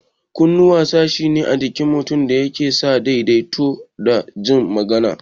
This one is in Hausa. Kunnuwa sashi ne na jikin mutum da yake sa daidaito da jin magana